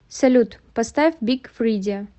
салют поставь биг фридиа